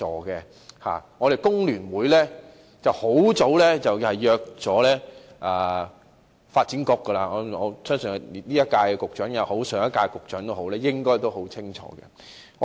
工聯會很早便約見發展局，相信無論是今屆或上屆政府的局長都應該很清楚。